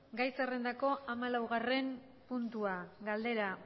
gai zerrendako hamalaugarren puntua galdera